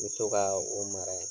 Me to kaa o mara ye